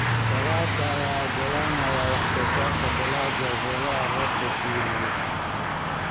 Waraabka ayaa u oggolaanaya wax-soo-saarka dalagga meelaha roobabku ku yar yihiin.